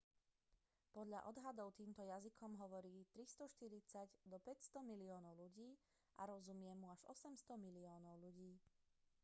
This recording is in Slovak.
podľa odhadov týmto jazykom hovorí od 340 do 500 miliónov ľudí a rozumie mu až 800 miliónov ľudí